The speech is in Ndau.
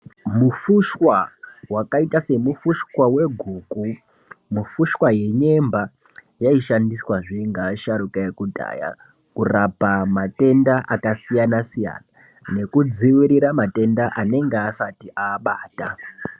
Mufushwa wakaita semufushwa weguku mufushwa yenyemba yaishandiswa zve ngeasharuka ekudhaya kurapa matenda akasiyanasiya nekudziirira matenda anenge asati aabata.